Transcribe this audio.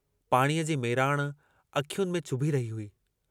पाणीअ जी मेराण अखियुनि में चुभी रही हुई।